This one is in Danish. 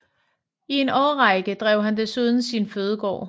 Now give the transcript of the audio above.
I en årrække drev han desuden sin fødegård